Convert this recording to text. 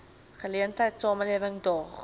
geleentheid samelewing daag